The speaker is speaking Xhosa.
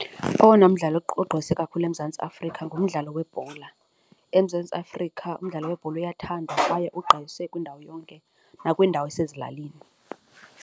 Owona mdlalo ogqwese kakhulu eMzantsi Afrika ngumdlalo webhola, eMzantsi Afrika umdlalo webhola uyathandwa kwaye ugqwese kwiindawo yonke, nakwiindawo yasezilalini.